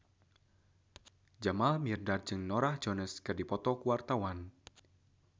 Jamal Mirdad jeung Norah Jones keur dipoto ku wartawan